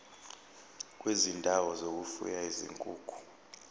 kwezindawo zokufuya izinkukhu